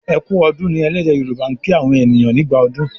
"e kú ọdún" ní ẹlẹdẹ yoruba' kín àwọn ènìyàn nígbà ọdún